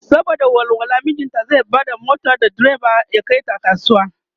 saboda walwala mijinta zai Bada mota da diriba ya Kai su kasuwa.